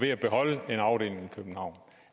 køre